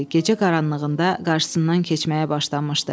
Gecə qaranlığında qarşısından keçməyə başlamışdı.